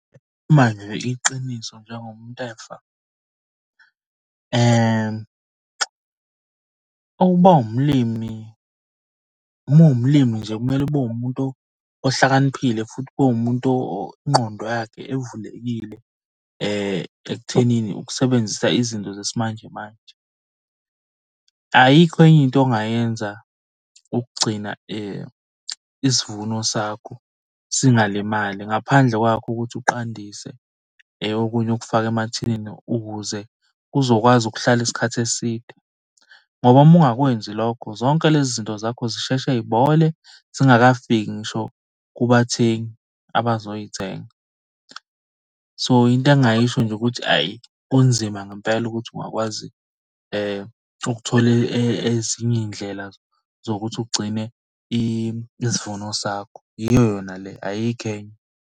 Iqiniso njengomuntu efa, ukuba umlimi. Uma uwumlimi nje kumele ube umuntu ohlakaniphile futhi ube umuntu ingqondo yakhe evulekile ekuthenini ukusebenzisa izinto zesimanjemanje. Ayikho enye into ongayenza ukugcina isivuno sakho singalimali ngaphandle kwakho ukuthi uqandise okunye ukufake emathinini ukuze kuzokwazi ukuhlala isikhathi eside, ngoba uma ungakwenzi lokho zonke lezi zinto zakho zisheshe y'bole zingakafiki ngisho kubathengi abazoy'thenga. So, into engingayisho nje ukuthi hhayi kunzima ngempela ukuthi ungakwazi ukuthola ezinye iy'ndlela zokuthi ugcine isivuno sakho. Iyo yona le ayikho enye.